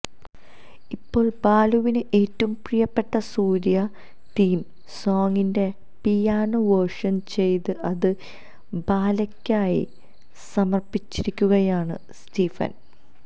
ഇപ്പോൾ ബാലുവിന് ഏറ്റവും പ്രീയപ്പെട്ട സൂര്യ തീം സോങിന്റെ പിയാനോ വേർഷൻ ചെയ്ത് അത് ബാലയ്ക്കായി സമർപ്പിച്ചിരിക്കുകയാണ് സ്റ്റീഫൻ